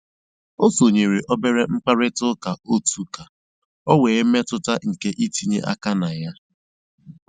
Ó sónyéré óbérè mkpàrị́tà ụ́ká ótù kà ọ́ nwée mmétụ́tà nkè ítínyé áká nà yá.